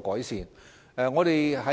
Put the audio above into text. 改善。